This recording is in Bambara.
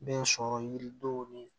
Bɛ sɔrɔ yiridenw ni